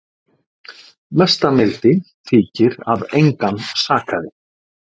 Mesta mildi þykir að engan sakaði